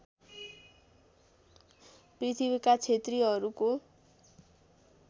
पृथ्वीका क्षेत्रीहरूको